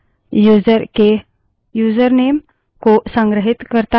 एक और दिलचस्प variable है लोगनेम